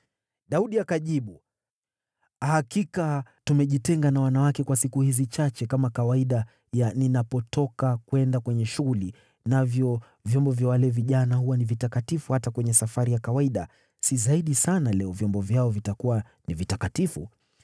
Daudi akajibu, “Hakika tumejitenga na wanawake kwa siku hizi chache kama kawaida ya ninapotoka kwenda kwenye shughuli. Navyo vyombo vya wale vijana huwa ni vitakatifu hata kwenye safari ya kawaida, si zaidi sana leo vyombo vyao vitakuwa ni vitakatifu?”